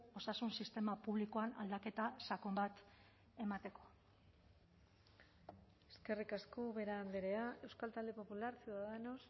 osasun sistema publikoan aldaketa sakon bat emateko eskerrik asko ubera andrea euskal talde popular ciudadanos